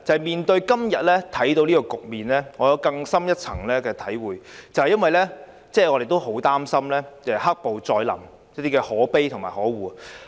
面對今天的局面，我有更深一層的體會，因為我們也很擔心"黑暴"再臨，這真是可悲和可惡。